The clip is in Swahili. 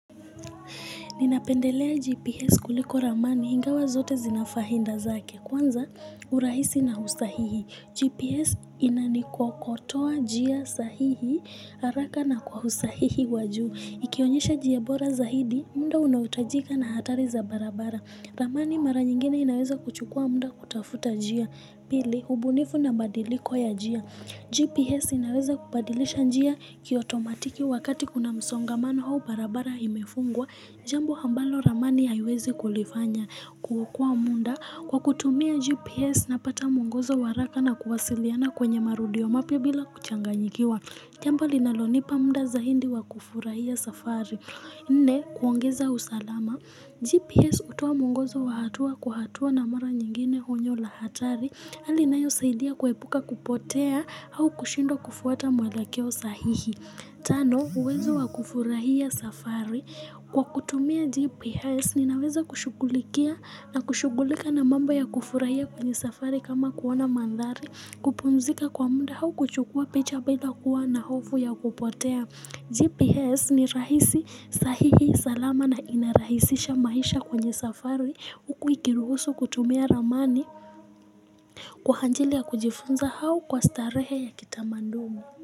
Ninapendelea GPS kuliko ramani hingawa zote zinafahinda zake. Kwanza urahisi na hustahihi. GPS inani kwokotoa jia sahihi, haraka na kwa husahihi wajuu. Ikionyesha jie bora zahidi, munda unautajika na hatari za barabara. Ramani mara nyingene inaweza kuchukua munda kutafuta jia. Pili, hubunifu na badiliko ya jia. GPS inaweza kubadilisha njia kiotomatiki wakati kuna msongamano hau barabara imefungwa. Jambo ambalo ramani hayiwezi kulifanya. Kuhokua munda, kwa kutumia GPS napata muongozo waraka na kuwasiliana kwenye marudio mapia bila kuchanganyikiwa. Jambo linalonipa munda za hindi wa kufurahia safari. Nne, kuongeza usalama, GPS utuwa mungozo wa hatua kuhatua na mara nyingine honyo la hatari, alinayo saidia kuwepuka kupotea hau kushindwa kufuata mwelakeo sahihi. Tano, uwezo wa kufurahia safari. Kwa kutumia GPS, ninawezo kushugulikia na kushugulika na mamba ya kufurahia kwenye safari kama kuwona mandhari, kupumzika kwa munda hau kuchukua picha bila kuwa na hofu ya kupotea. GPS ni rahisi sahihi salama na inarahisisha maisha kwenye safari ukuikiruhusu kutumia ramani kwa hanjilia kujifunza hao kwa starehe ya kitamandumu.